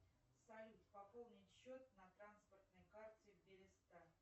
салют пополнить счет на транспортной карте береста